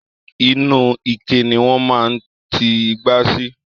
Inú ike ni wọn máa n ti ìgbà sí.